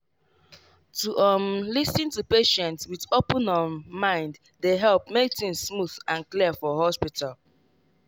to um lis ten to patient with open um mind dey help make things smooth and clear for hospital.